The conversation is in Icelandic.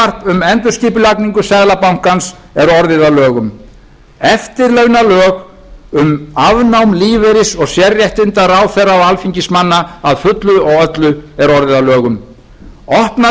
um endurskipulagningu seðlabankans er orðið að lögum eftirlaunalög um afnám lífeyris og sérréttinda ráðherra og alþingismanna að fullu og öllu er orðið að lögum opnað hefur